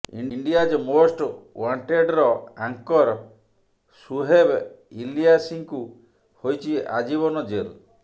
India's most ୱାଂଟେଡର anchor Suhaib ଇଲିୟାସୀଙ୍କୁ ହୋଇଛି ଆଜୀବନ ଜେଲ୍